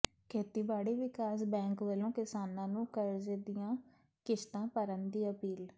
ਖੇਤੀਬਾੜੀ ਵਿਕਾਸ ਬੈਂਕ ਵੱਲੋਂ ਕਿਸਾਨਾਂ ਨੂੰ ਕਰਜ਼ੇ ਦੀਆਂ ਕਿਸ਼ਤਾਂ ਭਰਨ ਦੀ ਅਪੀਲ